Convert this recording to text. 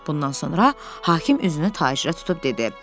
Bundan sonra hakim üzünü tacirə tutub dedi: